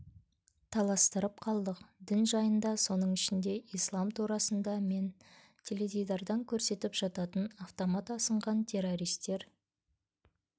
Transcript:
таластырып қалдық дін жайында соның ішінде ислам турасында мен теледидардан көрсетіп жататын автомат асынған террористер